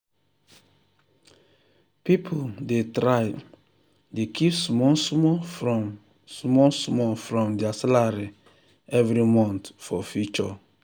people dey try dey keep small small from small small from their salary every month for future.